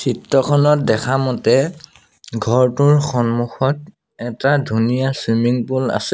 চিত্ৰখনত দেখা মতে ঘৰটোৰ সন্মুখত এটা ধুনীয়া চুইমিং পুল আছে।